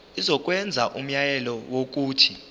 izokwenza umyalelo wokuthi